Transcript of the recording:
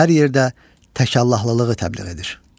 O hər yerdə təkallahlılığı təbliğ edir.